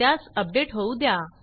त्यास अपडेट होऊ द्या